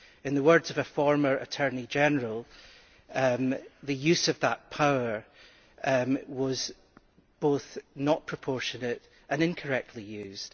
In the words of a former Attorney General, the use of that power was both not proportionate and incorrectly used.